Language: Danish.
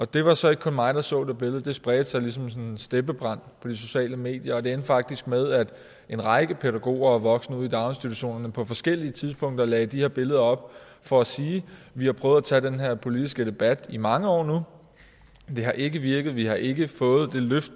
det var så ikke kun mig der så det billede det spredte sig ligesom sådan en steppebrand på de sociale medier og det endte faktisk med at en række pædagoger og voksne ude i daginstitutionerne på forskellige tidspunkter lagde de her billeder op for at sige vi har prøvet at tage den her politiske debat i mange år nu det har ikke virket vi har ikke fået det løft